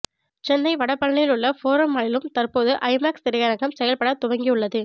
சென்னை வடபழனியிலுள்ள ஃபோரம் மாலிலும் தற்பொழுது ஐமேக்ஸ் திரையரங்கம் செயல்பட துவங்கியுள்ளது